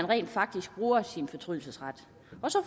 rent faktisk at bruge fortrydelsesretten